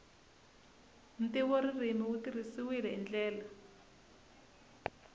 ntivoririmi wu tirhisiwile hi ndlela